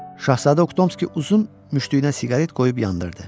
Şahzadə Oktomski uzun müşdüyünə siqaret qoyub yandırdı.